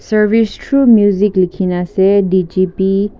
service through music likhi na ase D G P